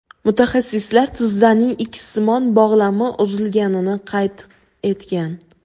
Mutaxassislar tizzaning ikssimon bog‘lami uzilganligini qayd etgan.